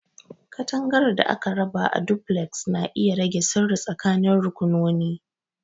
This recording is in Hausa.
Katangar da aka raba a Duplex na iya rage sirri tsakanin rakunoni.